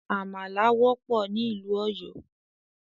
Àmàlà wọ́pọ̀ ní ìlú Òyọ́